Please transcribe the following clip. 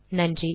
நன்றி